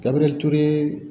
Kabini ture